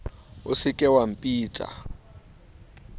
o se ke wa mpitsa